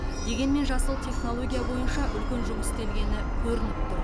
дегенмен жасыл технология бойынша үлкен жұмыс істелгені көрініп тұр